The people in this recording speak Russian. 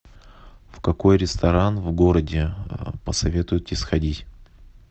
в какой ресторан в городе посоветуете сходить